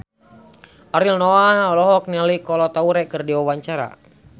Ariel Noah olohok ningali Kolo Taure keur diwawancara